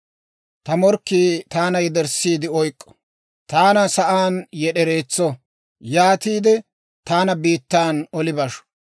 ta morkkii taana yederssiide oyk'k'o. Taana sa'aan yed'ereetso; yaatiide, taana biittaan oli basho.